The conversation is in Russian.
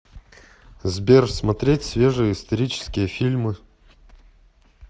сбер смотреть свежие исторические фильмы